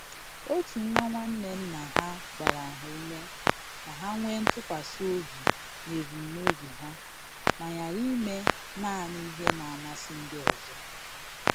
Otu nwa nwanne nna ha gbara ha ume ka ha nwee ntụkwasi obi n'ebumnobi ha ma ghara ime naanị ihe na-amasị ndị ọzọ.